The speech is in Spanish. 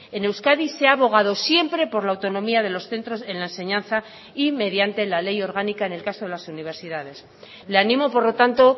en euskadi se ha abogado siempre por la autonomía de los centros en la enseñanza y mediante la ley orgánica en el caso de las universidades le animo por lo tanto